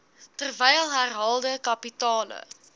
terwyl herhaalde kapitale